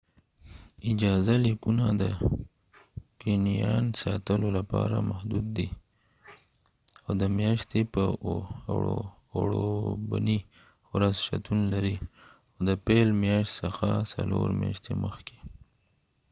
اجازه لیکونه د کنیان ساتلو لپاره محدود دي، او د میاشتې په ۱وړوبني ورځ شتون لري، د پیل میاشت څخه څلور میاشتې مخکې